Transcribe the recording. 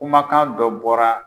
Kumakan dɔ bɔra.